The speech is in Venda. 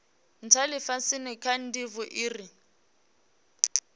ntha lifhasini kha ndivho ire